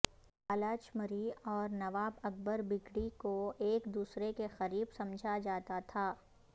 بالاچ مری اور نواب اکبر بگٹی کو ایک دوسرے کے قریب سمجھا جاتا تھا